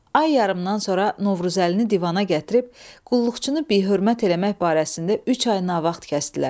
Ay yarımdan sonra Novruzəlini divana gətirib, qulluqçunu bihörmət eləmək barəsində üç ay navaxt kəsdilər.